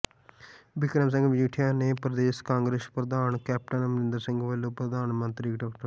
ਬਿਕਰਮ ਸਿੰਘ ਮਜੀਠੀਆ ਨੇ ਪ੍ਰਦੇਸ਼ ਕਾਂਗਰਸ ਪ੍ਰਧਾਨ ਕੈਪਟਨ ਅਮਰਿੰਦਰ ਸਿੰਘ ਵਲੋਂ ਪ੍ਰਧਾਨ ਮੰਤਰੀ ਡਾ